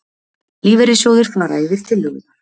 Lífeyrissjóðir fara yfir tillögurnar